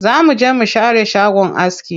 Za mu je mu share shagon aski.